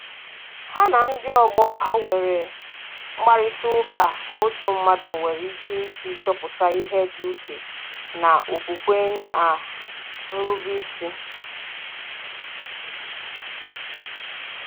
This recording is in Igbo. Ha na ndị ọgbọ ha nwere mkparịtaụka otu mmadụ nwere ike isi chọpụta ihe dị iche na okwukwe na nrube isi